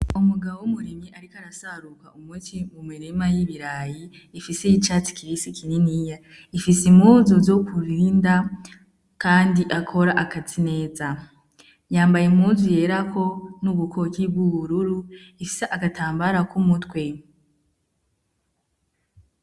Umugabo w'umurimyi ariko arasarura umuti mu murima y'ibirayi ifise icatsi kibisi kininiya ifise impuzu zo kubinda kandi akora akazi neza, yambaye impuzu yerako n'ubukoki bw'ubururu ifise agatambara k'umutwe.